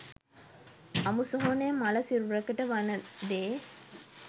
අමුසොහොනේ මළ සිරුරකට වන දේ